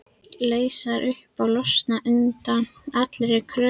Leysast upp og losna undan allri kröfugerð.